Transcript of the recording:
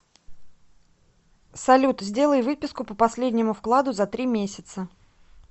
салют сделай выписку по последнему вкладу за три месяца